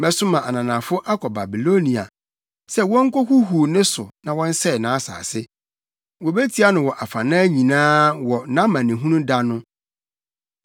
Mɛsoma ananafo akɔ Babilonia sɛ wonkohuhuw ne so na wɔnsɛe nʼasase; wobetia no wɔ afanan nyinaa wɔ nʼamanehunu da no.